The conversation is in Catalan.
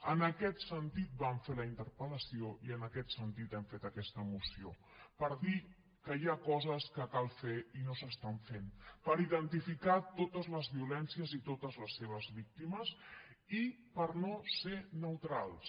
en aquest sentit vam fer la interpel·tit hem fet aquesta moció per dir que hi ha coses que cal fer i no s’estan fent per identificar totes les violències i totes les seves víctimes i per no ser neutrals